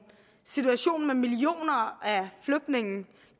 situation med millioner af flygtninge